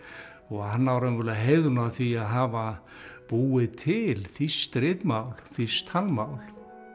hann á raunverulega heiðurinn af því að hafa búið til þýskt ritmál þýskt talmál